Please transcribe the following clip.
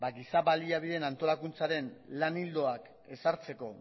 giza baliabideen antolakuntzaren lan ildoak ezartzeko